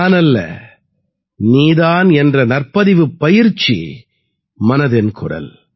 நானல்ல நீ தான் என்ற நற்பதிவுப் பயிற்சி மனதின் குரல்